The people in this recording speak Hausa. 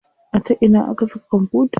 A ta ina aka saka kwamfutar?